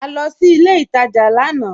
À lọ sí ilẹ̀ ìtajá lànà